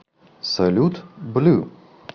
салют блю